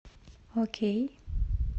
окей